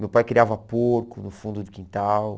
Meu pai criava porco no fundo do quintal.